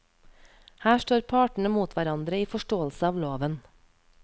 Her står partene mot hverandre i forståelse av loven.